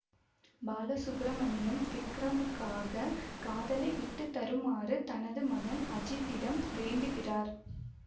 பாலசுப்பிரமணியம் விக்ரமுக்காக காதலை விட்டு தருமாறு தனது மகன் அஜித்திடம் வேண்டுகிறார்